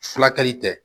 Furakɛli tɛ